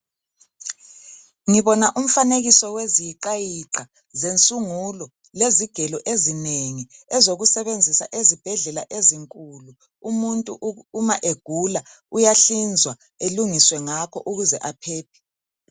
Ngibona umfanekiso weziyiqa yiqa zensungulo, lezigelo ezinengi ezokusebenzisa ezibhedlela ezinkulu umuntu uma egula uyahlinzwa elungiswe ngakho ukuze aphephe.